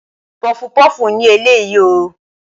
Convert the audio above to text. Pọfupọ́ọ̀fù ni eléyìí o.